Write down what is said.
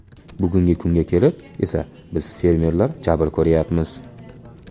Bugungi kunga kelib esa biz fermerlar jabr ko‘ryapmiz.